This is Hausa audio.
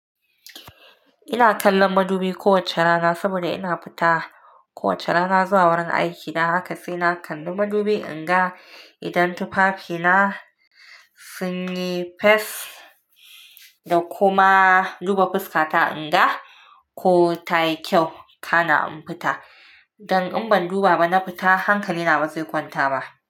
Ina kallon madubi kowacce rana saboda ina fita kowacce rana zuwa wurin aikina. Haka sai na kalli madubi in ga idan tufafina sun yi fes da kuma duba fuskata in ga ko tayi kyau kana in fita. Dan in ban duba ba na fita hankalina bazai kwanta ba.